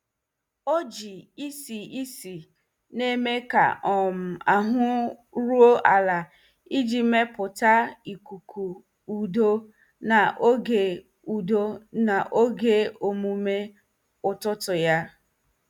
O ji isi ísì na-eme ka um ahụ ruo ala iji mepụta ikuku udo n'oge udo n'oge omume ụtụtụ ya.